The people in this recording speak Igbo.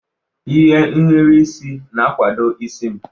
Ihe nhiri isi na-akwado isi m.